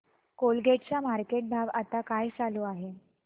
Colgate चा market भाव आता काय चालू आहे